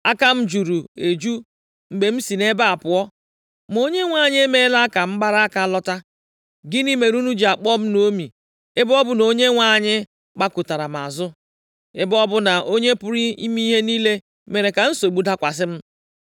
Aka m juru eju mgbe m si nʼebe a pụọ, ma Onyenwe anyị emeela ka m gbara aka lọta. Gịnị mere unu ji akpọ m Naomi ebe ọ bụ na Onyenwe anyị gbakụtara m azụ, ebe ọ bụ na Onye pụrụ ime ihe niile mere ka nsogbu dakwasị m.”